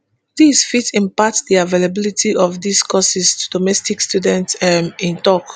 dis fit impact di availability of dis courses to domestic students um e tok